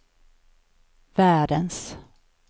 världens